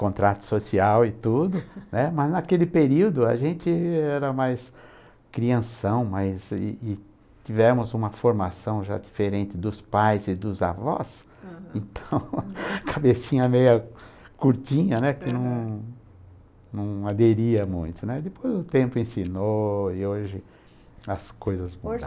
contrato social e tudo, né, mas naquele período a gente era mais crianção, mas e e tivemos uma formação já diferente dos pais e dos avós, uhum então, cabecinha meia curtinha, né, que não não aderia muito, né, depois o tempo ensinou e hoje as coisas mudaram. Hoje